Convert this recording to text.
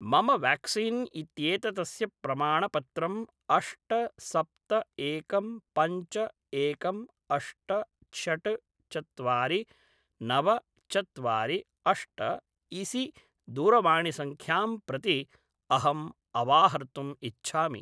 मम व्याक्सीन् इत्येततस्य प्रमाणपत्रम् अष्ट सप्त एकं पञ्च एकं अष्ट षट्‌ चत्वारि नव चत्वारि अष्ट इसि दूरवाणिसंख्यां प्रति अहम् अवाहर्तुम् इच्छामि